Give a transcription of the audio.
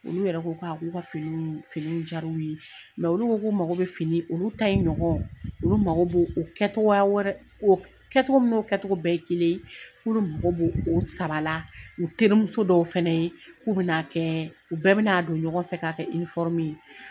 Olu yɛrɛ ko ka k'olu ka fini fini jar'u ye mɛ olu ko k'u mago be fini olu ta in ɲɔgɔn olu mago b'o kɛtogoya wɛrɛ kɛtogo min n'o kɛtogo bɛɛ ye kelen k'olu mago b'o sabala u terimuso dɔw fɛnɛ ye k'u bina kɛɛ u bɛɛ ben'a don ɲɔgɔn fɛ k'a kɛ inifɔrumu ye